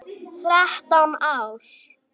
Þrettán ár.